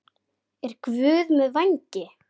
Er Guð með vængi?